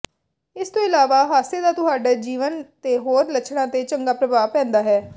ਇਸ ਤੋਂ ਇਲਾਵਾ ਹਾਸੇ ਦਾ ਤੁਹਾਡੇ ਜੀਵਨ ਦੇ ਹੋਰ ਲੱਛਣਾਂ ਤੇ ਚੰਗਾ ਪ੍ਰਭਾਵ ਪੈਂਦਾ ਹੈ